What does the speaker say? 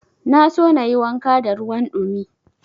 Na so na yi wanka da ruwan ɗumi.